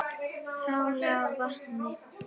Helgavatni